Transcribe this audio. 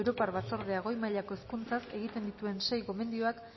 europar batzordeak goi mailako hezkuntzaz egiten dituen sei gomendioak